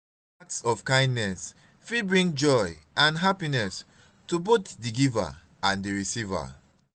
small acts of kindness fit bring joy and happiness to both di giver and di receiver.